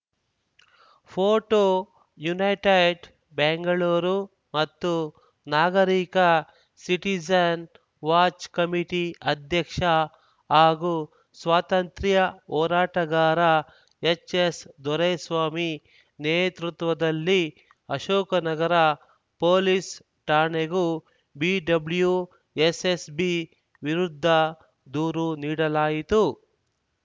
photo United Bengaluru ಮತ್ತು ನಾಗರಿಕ citizen watch committee ಅಧ್ಯಕ್ಷ ಹಾಗೂ ಸ್ವಾತಂತ್ರ್ಯ ಹೋರಾಟಗಾರ ಎಚ್‌ಎಸ್‌ದೊರೆಸ್ವಾಮಿ ನೇತೃತ್ವದಲ್ಲಿ ಅಶೋಕ ನಗರ ಪೊಲೀಸ್‌ ಠಾಣೆಗೆಗೂ ಬಿಡಬ್ಲ್ಯೂಎಸ್‌ಎಸ್‌ಬಿ ವಿರುದ್ಧ ದೂರು ನೀಡಲಾಯಿತು